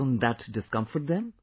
Doesn't that discomfort them